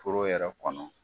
Foro yɛrɛ kɔnɔ